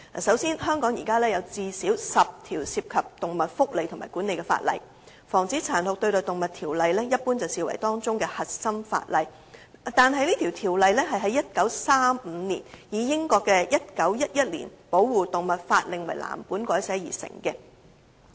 首先，香港現時有最少10項涉及動物福利和管理的法例，而《防止殘酷對待動物條例》一般被視為當中的核心法例，但該條例是在1935年以英國的《1911年保護動物法令》為藍本改寫而成的。